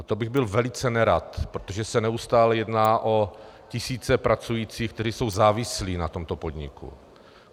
A to bych byl velice nerad, protože se neustále jedná o tisíce pracujících, kteří jsou závislí na tomto podniku.